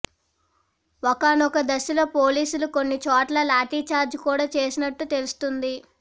ఒకానొక దశలో పోలీసులు కొన్ని చోట్ల లాఠీ ఛార్జ్ కూడా చేసినట్టు తెలుస్తోంది